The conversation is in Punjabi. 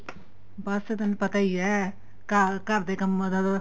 ਬੱਸ ਤੁਹਾਨੂੰ ਪਤਾ ਈ ਏ ਘਰ ਦੇ ਕੰਮਾ ਦਾ ਤਾਂ